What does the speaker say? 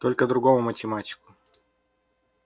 только другому математику